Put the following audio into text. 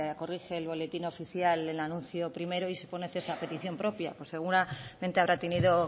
corrige el boletín oficial el anuncio primero y se pone cese a petición propia pero seguramente habrá tenido